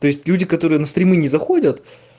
то есть люди которые на стрёмы не заходят